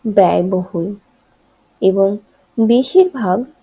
ব্যয়বহুল এবং বেশিরভাগ